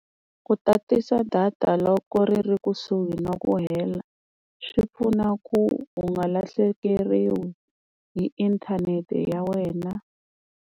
Ku tatisa data loko ri ri kusuhi na ku hela swi pfuna ku u nga lahlekeriwa hi inthanete ya wena.